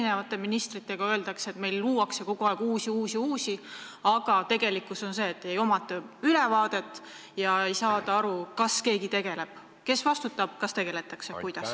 Oleme siin eri ministritelt kuulnud, et meil luuakse kogu aeg aina uusi infosüsteeme, aga tegelikkus on see, et pole ülevaadet ega saada aru, millega keegi tegeleb, kes vastutab ja kuidas.